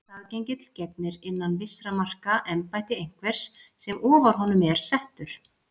Staðgengill gegnir innan vissra marka embætti einhvers sem ofar honum er settur.